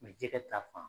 jɛgɛ ta fan